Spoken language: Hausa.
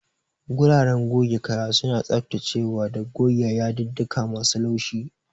Guraren goge kaya suna tsaftacewa da goge yadudduka masu laushi.